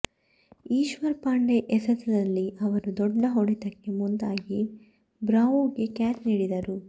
ಈಶ್ವರ್ ಪಾಂಡೆ ಎಸೆತದಲ್ಲಿ ಅವರು ದೊಡ್ಡ ಹೊಡೆತಕ್ಕೆ ಮುಂದಾಗಿ ಬ್ರಾವೊಗೆ ಕ್ಯಾಚ್ ನೀಡಿದರು